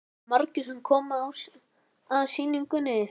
Jóhann: Eru margir sem koma að sýningunni?